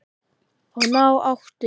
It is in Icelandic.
Og ná áttum.